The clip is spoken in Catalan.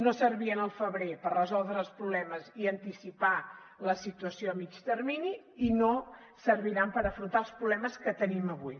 no servien al febrer per resoldre els problemes ni anticipar la situació a mitjà termini i no serviran per afrontar els problemes que tenim avui